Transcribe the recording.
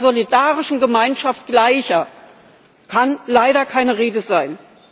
Von einer solidarischen Gemeinschaft Gleicher kann leider keine Rede sein.